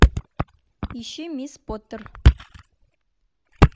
ищи мисс поттер